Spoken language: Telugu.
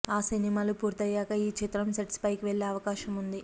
ఆ సినిమాలు పూర్తయ్యాక ఈ చిత్రం సెట్స్ పైకి వెళ్ళే అవకాశం ఉన్నది